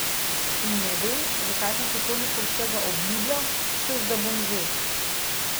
In ne vem, zakaj sem si toliko vsega obljubljal, češ da bom že.